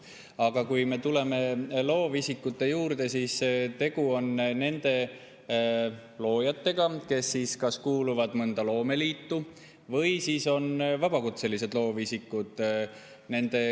Aga kui me tuleme loovisikute juurde, siis tegu on nende loojatega, kes kuuluvad mõnda loomeliitu või on vabakutselised loovisikud.